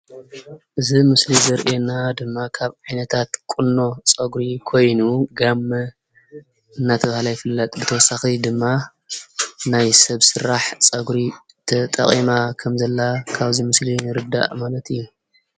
እዚ ኣብ ምስሊ ዘርእየና ድማ ካብ ዓይነታ ቁኖታት ፀጉሪ ኮይኑ ጋመ እናተባሃለ ይፍለጥ ብተወሳኪ ድማ ናይ ሰብ ስራሕ ፀጉሪ ተጠቂማ ከም ዘላ ካብዚ ምስሊ ንርዳአ ማለት እዩ።